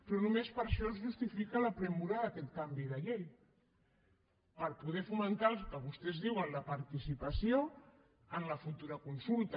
però només per això es justifica la urgència d’aquest canvi de llei per poder fomentar el que vostès diuen la participació en la futura consulta